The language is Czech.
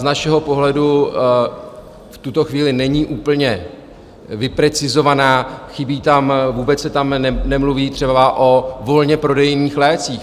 Z našeho pohledu v tuto chvíli není úplně vyprecizovaná, chybí tam, vůbec se tam nemluví třeba o volně prodejných lécích.